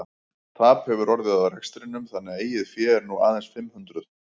Tap hefur orðið á rekstrinum þannig að eigið fé er nú aðeins fimm hundruð.